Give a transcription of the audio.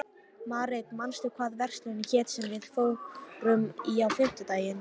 Marit, manstu hvað verslunin hét sem við fórum í á fimmtudaginn?